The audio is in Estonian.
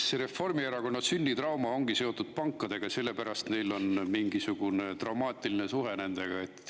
Eks Reformierakonna sünnitrauma ongi seotud pankadega, selle pärast neil ongi mingisugune traumaatiline suhe nendega.